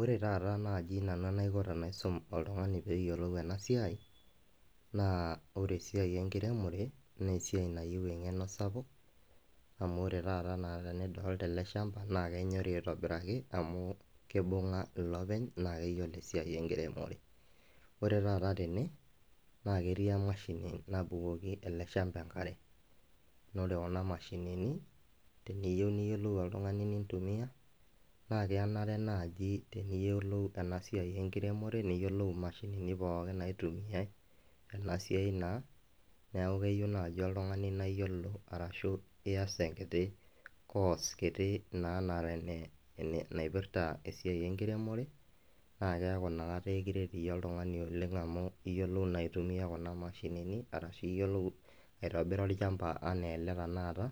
Ore taata nai tanaikobnanu paisum oltungani metayiolo enasiai na ore esiai enkiremore na esiai nayieu engeno sapuk smu ore taata tenidolta eleshamba na kenyori aitobiraki amu kibunga olopeny nakeyiolo esiai enkiremore, ore taata tene na keti enashini nabukoki eleshamba enkare na ore kuna mashinini teniyieu nitumia na kenare nai teniyiolou enasiai enkiremore niyiolou mashinini pookin naitumiai tenasiai neaku keyieu nai oltungani na keyiolo enasia niasi enkiti course kiti na naipirta esiai enkiremore neaku inakata ekiret iyie oltungani amu iyiolo na aitumia kuna mashinini ashu iyolo aitobira olchamba ana ele tanakata